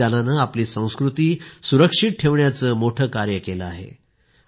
या बलिदानाने आपली संस्कृती सुरक्षित ठेवण्याचे मोठे कार्य केले आहे